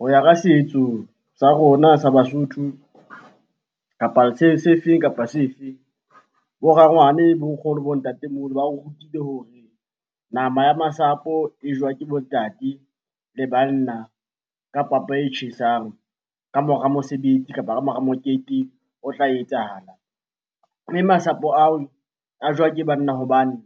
Ho ya ka setso sa rona sa Basotho kapa sefeng kapa sefeng. Bo rangwane, bo nkgono, bo ntatemoholo ba o rutile hore nama ya masapo e jowa ke bo ntate le banna, ka papa e tjhesang ka mora mosebetsi kapa ka mora mokete o tla etsahala. Mme masapo ao a jowa ke banna hobane